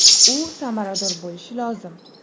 U samarador bo‘lishi lozim.